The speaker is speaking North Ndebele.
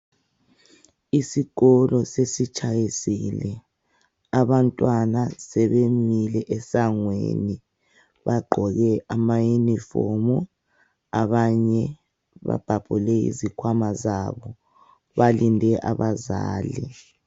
Isikolo sesitshayisile. Abantwana sebebuyele esangweni, bagqoke amayunifomu, abanye babhabhule izikhwama zabo. Balindele abazali.